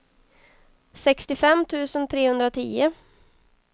sextiofem tusen trehundratio